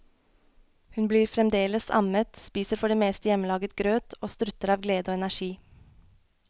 Hun blir fremdeles ammet, spiser for det meste hjemmelaget grøt og strutter av glede og energi.